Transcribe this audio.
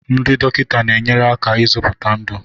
ndị dọkịta na-enyere aka ịzọpụta ndụ